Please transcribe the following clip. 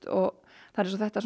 og það er eins og þetta